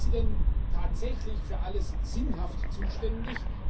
Ist sie denn tatsächlich für alles Sinnhafte zuständig?